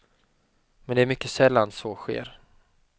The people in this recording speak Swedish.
Men det är mycket sällan så sker.